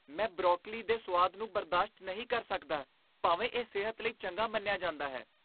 ਮੈਂ ਬਰੋਕਲੀ ਦੇ ਸੁਆਦ ਨੂੰ ਬਰਦਾਸ਼ਤ ਨਹੀਂ ਕਰ ਸਕਦਾ ਭਾਵੇਂ ਇਹ ਸਿਹਤ ਲਈ ਚੰਗਾ ਮੰਨਿਆ ਜਾਂਦਾ ਹੈ।